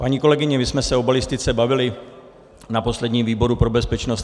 Paní kolegyně, my jsme se o balistice bavili na posledním výboru pro bezpečnost.